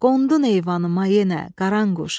Qondu eyvanıma yenə Qaranquş.